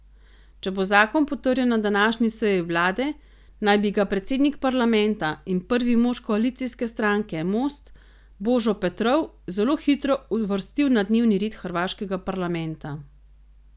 Če bo zakon potrjen na današnji seji vlade, naj bi ga predsednik parlamenta in prvi mož koalicijske stranke Most Božo Petrov zelo hitro uvrstil na dnevni red hrvaškega parlamenta.